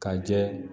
Ka jɛ